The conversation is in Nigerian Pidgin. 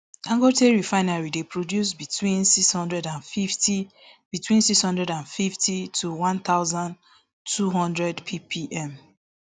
dangote refinery dey produce between six hundred and fifty between six hundred and fifty to one thousand, two hundred ppm